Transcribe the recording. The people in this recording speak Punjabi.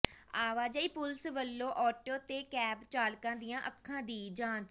ਆਵਾਜਾਈ ਪੁਲਿਸ ਵੱਲੋਂ ਆਟੋ ਤੇ ਕੈਬ ਚਾਲਕਾਂ ਦੀਆਂ ਅੱਖਾਂ ਦੀ ਜਾਂਚ